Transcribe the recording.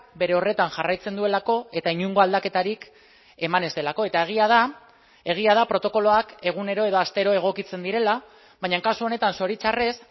bere horretan jarraitzen duelako eta inongo aldaketarik eman ez delako eta egia da egia da protokoloak egunero edo astero egokitzen direla baina kasu honetan zoritxarrez